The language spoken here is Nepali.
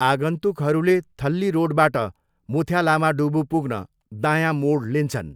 आगन्तुकहरूले थल्ली रोडबाट मुथ्यालामाडुवू पुग्न दायाँ मोड लिन्छन्।